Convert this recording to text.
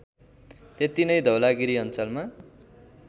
त्यतिनै धौलागिरी अञ्चलमा